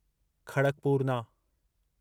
खड़कपूरना